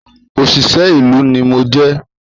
Òṣìṣẹ́ ìlú ni mo jẹ́